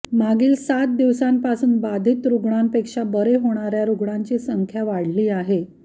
मागील सात दिवसांपासून बाधित रुग्णांपेक्षा बरे होणाऱ्या रुग्णांची संख्या वाढली आहे